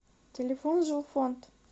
телефон жилфонд